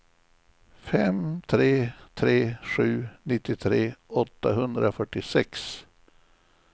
fem tre tre sju nittiotre åttahundrafyrtiosex